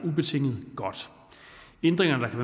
ændringer der kan